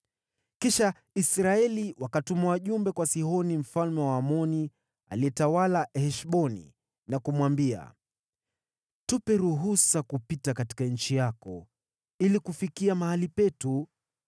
“Kisha Israeli wakatuma wajumbe kwa Sihoni mfalme wa Waamori, aliyetawala Heshboni, na kumwambia, ‘Tupe ruhusa kupita katika nchi yako ili kufikia mahali petu.’